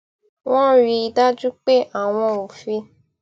wón rí i dájú pé àwọn ò fi